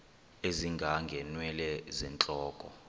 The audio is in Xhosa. ezinga ngeenwele zentloko